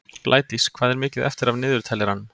Blædís, hvað er mikið eftir af niðurteljaranum?